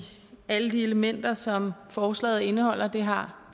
alle de elementer som forslaget indeholder det har